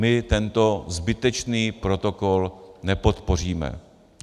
My tento zbytečný protokol nepodpoříme.